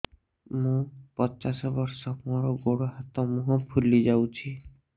ମୁ ପଚାଶ ବର୍ଷ ମୋର ଗୋଡ ହାତ ମୁହଁ ଫୁଲି ଯାଉଛି